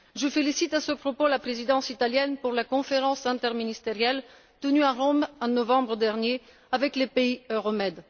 Je félicite à ce propos la Présidence italienne pour la conférence interministérielle tenue à Rome en novembre dernier avec les pays Euromed.